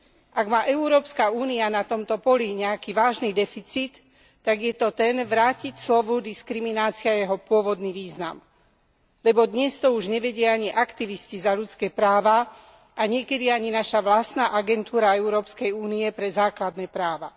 Ak má Európska únia na tomto poli nejaký vážny deficit, tak je to ten vrátiť slovu diskriminácia jeho pôvodný význam, lebo dnes to už nevedia ani aktivisti za ľudské práva a niekedy ani naša vlastná agentúra Európskej únie pre základné práva.